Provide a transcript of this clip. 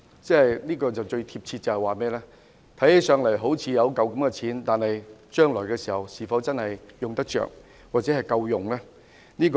"用來形容強積金便最貼切了，看起來好像有一筆錢，但將來是否用得到或足夠呢？